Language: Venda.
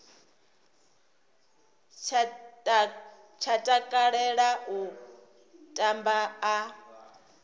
tsha takalela u tamba a